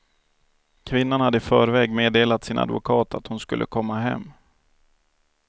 Kvinnan hade i förväg meddelat sin advokat att hon skulle komma hem.